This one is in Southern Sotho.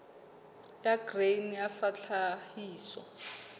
ya grain sa ya tlhahiso